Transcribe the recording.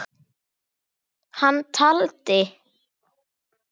Hann taldi